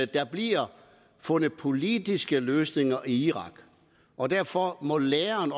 der bliver fundet politiske løsninger i irak og derfor må læren